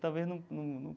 Talvez num num